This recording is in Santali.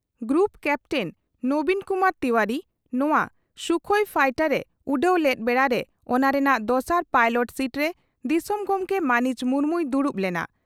ᱜᱨᱩᱯ ᱠᱟᱯᱴᱮᱱ ᱱᱚᱵᱤᱱ ᱠᱩᱢᱟᱨ ᱛᱤᱣᱟᱨᱤ ᱱᱚᱣᱟ ᱥᱩᱠᱷᱚᱤ ᱯᱷᱟᱭᱴᱟᱨ ᱮ ᱩᱰᱟᱹᱣ ᱞᱮᱫ ᱵᱮᱲᱟᱨᱮ ᱚᱱᱟ ᱨᱮᱱᱟᱜ ᱫᱚᱥᱟᱨ ᱯᱟᱭᱞᱚᱴ ᱥᱤᱴᱨᱮ ᱫᱤᱥᱚᱢ ᱜᱚᱢᱠᱮ ᱢᱟᱹᱱᱤᱡ ᱢᱩᱨᱢᱩᱭ ᱫᱩᱲᱩᱵ ᱞᱮᱱᱟ ᱾